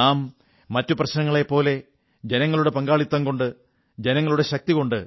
നാം മറ്റു പ്രശ്നങ്ങളെപ്പോലെ ജനങ്ങളുടെ പങ്കാളിത്തം കൊണ്ട് ജനങ്ങളുടെ ശക്തികൊണ്ട്